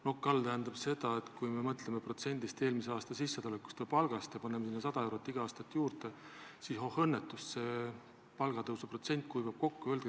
"Nokk all" tähendab seda, et kui me mõtleme protsendile eelmise aasta sissetuleku või palga puhul ning paneme sinna 100 eurot igal aastal juurde, siis oh õnnetust, see palgatõusu protsent kuivab kokku.